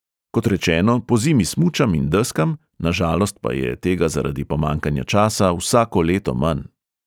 Kot rečeno, pozimi smučam in deskam, na žalost pa je tega zaradi pomanjkanja časa, vsako leto manj.